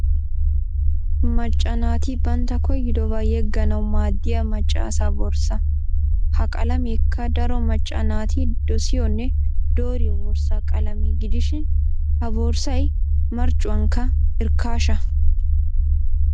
Macca naati bantta koyidobaa yegganawu maaddiya macca asaa borssaa. Ha qalameekka daro macca naati dosiyoonne dooriyo borssaa qalamee gidishin ha borssay marccuwankka irkkaasha.